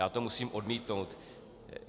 Já to musím odmítnout.